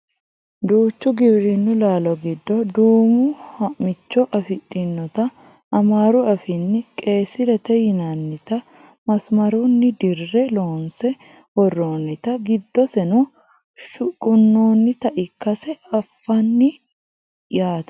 duucha giwirinnu laalo giddo duumo ha'micho afidhinota amaaru afiinni qeyyisirete yinannita masimarunni dirre loonse worroonnita giddoseno shuqunnoonnita ikkase anfanni yaate